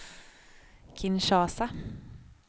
Kinshasa